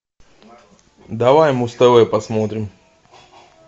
давай муз тв посмотрим